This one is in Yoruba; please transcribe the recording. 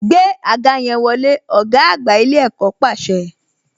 Gbé àga yẹn wọlé, ọ̀gá àgbà ilé ẹ̀kọ́ pàṣẹ